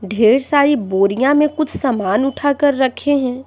ढेर सारी बोरिया में कुछ सामान उठाकर रखे हैं।